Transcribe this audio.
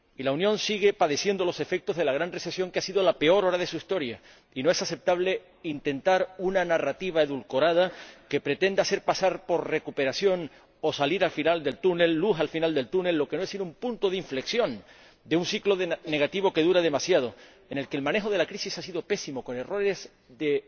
Y la Unión sigue padeciendo los efectos de la gran recesión, que ha sido la peor hora de su historia, y no es aceptable intentar una narrativa edulcorada que pretenda hacer pasar por recuperación o luz al final del túnel lo que no es sino un punto de inflexión de un ciclo negativo que dura demasiado, en el que el manejo de la crisis ha sido pésimo, con errores de